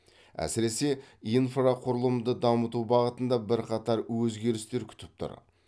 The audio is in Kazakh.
әсіресе инфрақұрылымды дамыту бағытында бірқатар өзгерістер күтіп тұр